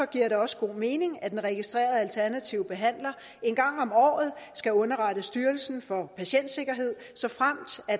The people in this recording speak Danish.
giver det også god mening at en registreret alternativ behandler en gang om året skal underrette styrelsen for patientsikkerhed såfremt